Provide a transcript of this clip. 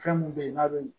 Fɛn mun be yen n'a be